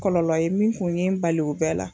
Kɔlɔlɔ ye min kun ye n bali o bɛɛ la.